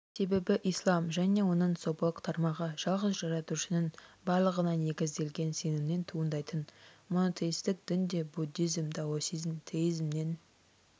себебі ислам және оның сопылық тармағы жалғыз жаратушының барлығына негізделген сенімнен туындайтын монотеистік дін де буддизм даосизм теизмнен